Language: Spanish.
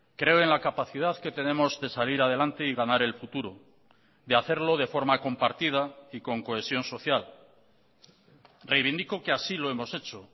creo en la capacidad que tenemos de salir adelante y ganar el futuro de hacerlo de forma compartida y con cohesión social reivindico que así lo hemos hecho